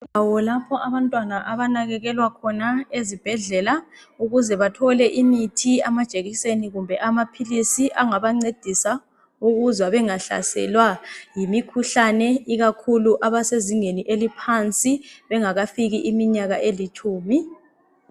Indawo lapho abantwana abanakekelwa khona ezibhedlela ukuze bathole imith, amajekiseni kumbe amaphilisi angabancedisa ukuze bangahlaselwa yimikhuhlane ikakhulu abasezingeni eliphansi bengakafiki iminyaka elitshumi.